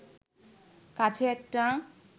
কাছে একটা